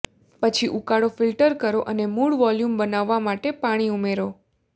પછી ઉકાળો ફિલ્ટર કરો અને મૂળ વોલ્યુમ બનાવવા માટે પાણી ઉમેરો